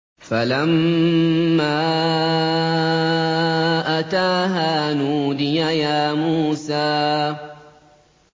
فَلَمَّا أَتَاهَا نُودِيَ يَا مُوسَىٰ